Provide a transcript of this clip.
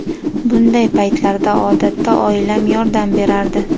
Bunday paytlarda odatda oilam yordam berardi.